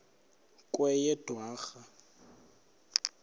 kweyedwarha